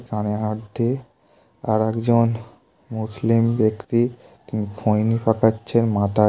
আর একজন মুসলিম ব্যক্তি তিনি খৈনি পাকাচ্ছেন মাথায় টু মাথায় টুপি আছে।